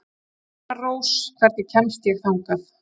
Vetrarrós, hvernig kemst ég þangað?